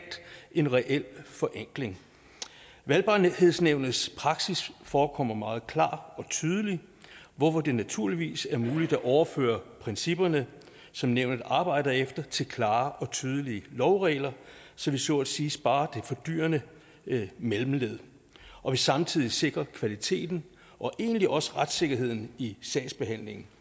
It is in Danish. en reel forenkling valgbarhedsnævnets praksis forekommer meget klar og tydelig hvorfor det naturligvis er muligt at overføre principperne som nævnet arbejder efter til klare og tydelige lovregler så vi så at sige sparer det fordyrende mellemled og vi samtidig sikrer kvaliteten og egentlig også retssikkerheden i sagsbehandlingen